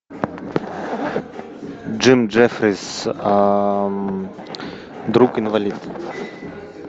джим джеффрис друг инвалид